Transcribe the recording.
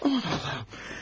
Allah Allahım!